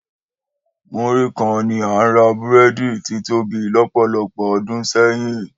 Múrí kan ni à ń ra búrẹ́dì títóbi lọ́pọ̀lọpọ̀ ọdún sẹ́yìn.